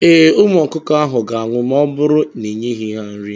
Ee, Ụmụ ọkụkọ ahụ ga-anwụ ma ọ bụrụ n'ịnyeghị ha nri.